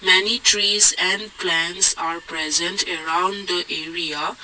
many trees and plants are present around the area.